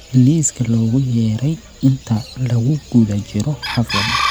liiska loogu yeeray inta lagu guda jiro xafladda